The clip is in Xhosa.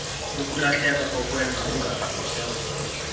ukulahleka kokwenza okungaqhutywa